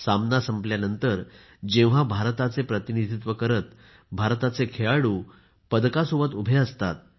सामना संपल्यानंतर जेव्हा भारताचे प्रतिनिधित्व करत भारताचे खेळाडू पदकासोबत उभे असतात